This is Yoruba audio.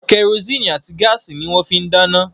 Kẹrosíìnì àti gáàsì ni wọ́n fín ń dáná